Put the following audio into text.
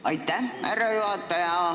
Aitäh, härra juhataja!